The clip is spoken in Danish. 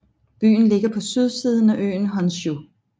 Byen ligger på sydsiden af øen Honshū